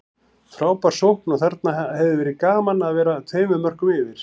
Frábær sókn og þarna hefði verið gaman að vera tveimur mörkum yfir.